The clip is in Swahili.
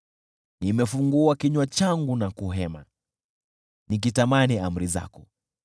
Nimefungua kinywa changu na kuhema, nikitamani amri zako.